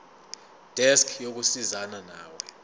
desk yokusizana nawe